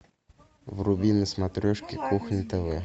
вруби на смотрешке кухня тв